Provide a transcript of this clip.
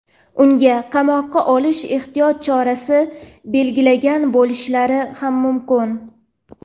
unga qamoqqa olish ehtiyot chorasi belgilagan bo‘lishlari ham mumkin.